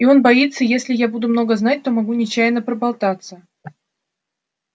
и он боится если я буду много знать то могу нечаянно проболтаться